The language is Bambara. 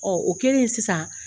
o kɛlen sisan